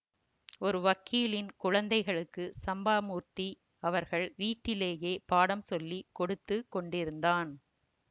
ஒரு வக்கீலின் குழந்தைகளுக்கு சம்பாமூர்த்தி அவர்கள் வீட்டிலேயே பாடம் சொல்லி கொடுத்து கொண்டிருந்தான்